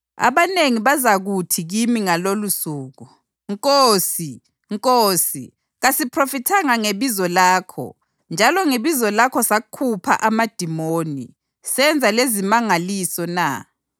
Abanengi bazakuthi kimi ngalolosuku, ‘Nkosi, Nkosi, kasiphrofithanga ngebizo lakho, njalo ngebizo lakho sakhupha amadimoni, senza lezimangaliso na?’